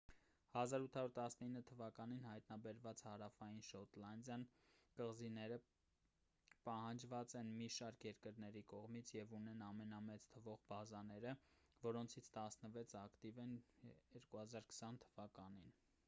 1819 թ.-ին հայտնաբերված հարավային շետլանդյան կղզիները պահանջված են մի շարք երկրների կողմից և ունեն ամենամեծ թվով բազաները որոնցից տասնվեցն ակտիվ են 2020 թ.-ին։